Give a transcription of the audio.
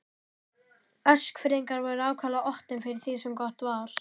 Eskfirðingar voru ákaflega opnir fyrir því sem gott var.